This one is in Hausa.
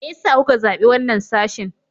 Me yasa kuka zabi wannan sashin?